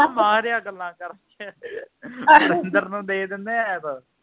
ਉਹ ਮਾਹਿਰ ਆ ਗੱਲਾਂ ਕਰਨ ਚ ਨੂੰ ਦੇਣੇ ਆ ਐੱਪ